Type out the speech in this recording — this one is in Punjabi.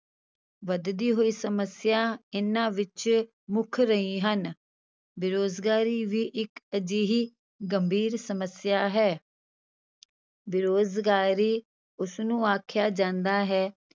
ਵੱਧਦੀ ਹੋਈ ਸਮੱਸਿਆ ਇਹਨਾਂ ਵਿੱਚ ਮੁੱਖ ਰਹੀ ਹਨ, ਬੇਰੁਜ਼ਗਾਰੀ ਵੀ ਇੱਕ ਅਜਿਹੀ ਗੰਭੀਰ ਸਮੱਸਿਆ ਹੈ ਬੇਰੁਜ਼ਗਾਰੀ ਉਸਨੂੰ ਆਖਿਆ ਜਾਂਦਾ ਹੈ,